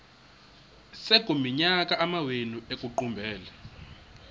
sekuyiminyaka amawenu ekuqumbele